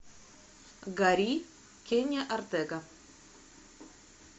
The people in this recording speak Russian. гори кенни ортега